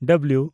W